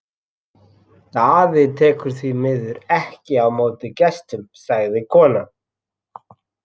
Daði tekur því miður ekki á móti gestum, sagði konan.